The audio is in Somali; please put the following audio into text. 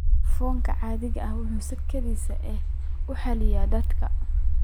Foomkan caadi ahaan waxa uu si kedis ah u xalliyaa da'da.